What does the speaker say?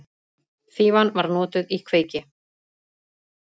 Fífan var notuð í kveiki.